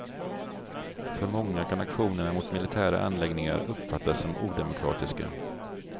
För många kan aktionerna mot militära anläggningar uppfattas som odemokratiska.